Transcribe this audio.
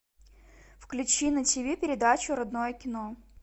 включи на тв передачу родное кино